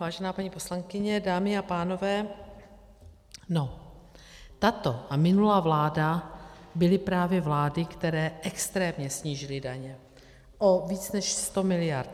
Vážená paní poslankyně, dámy a pánové, no, tato a minulá vláda byly právě vlády, které extrémně snížily daně o víc než 100 miliard.